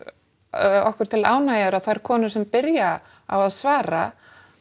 okkur til ánægju er að þær konur sem byrja á að svara